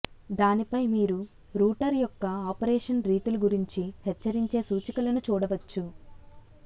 దానిపై మీరు రూటర్ యొక్క ఆపరేషన్ రీతులు గురించి హెచ్చరించే సూచికలను చూడవచ్చు